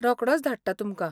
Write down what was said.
रोकडोंच धाडटां तुमकां!